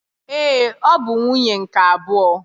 Ee, ọ bụ nwunye nke abụọ